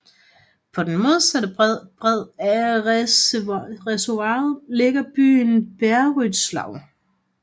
På den modsatte bred af reservoiret ligger byen Beryslaw